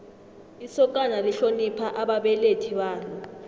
isokana lihlonipha ababelethi balo